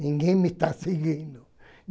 Ninguém me está seguindo.